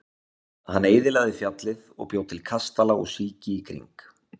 Hann eyðilagði fjallið og bjó til kastala og síki í kring.